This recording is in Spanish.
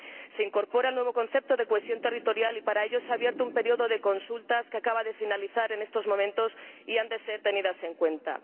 Se incorpora el nuevo concepto de cohesión territorial y, para ello, se ha abierto un período de consultas que acaba de finalizar en estos momentos que se han de tener en cuenta.